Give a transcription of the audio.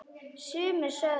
Sumir sögðu: